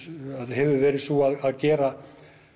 hefur verið sú að gera